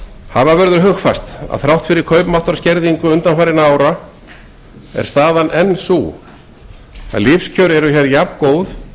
hafa verður hugfast að þrátt fyrir kaupmáttarskerðingu undanfarinna mánaða er staðan enn sú að lífskjör eru hér jafngóð